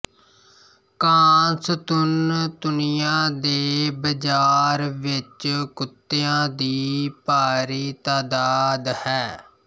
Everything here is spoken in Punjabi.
ਕਾਂਸਤੁਨਤੁਨੀਆ ਦੇ ਬਾਜ਼ਾਰ ਵਿੱਚ ਕੁੱਤਿਆਂ ਦੀ ਭਾਰੀ ਤਾਦਾਦ ਹੈ